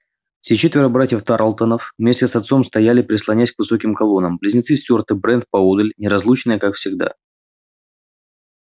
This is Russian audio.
все четверо братьев тарлтонов вместе с отцом стояли прислонясь к высоким колоннам близнецы стюарт и брент поодаль неразлучные как всегда